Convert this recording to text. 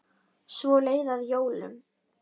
Svo leið að jólum.